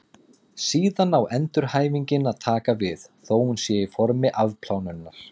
Síðan á endurhæfingin að taka við, þó hún sé í formi afplánunar.